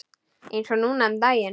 Eins og núna um daginn.